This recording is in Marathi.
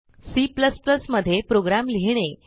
C मध्ये प्रोग्राम लिहिणे